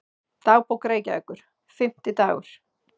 Dagbók Reykjavíkur, Fimmtidagur